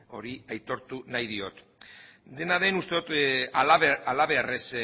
hori aitortu nahi diot dena den uste dut halabeharrez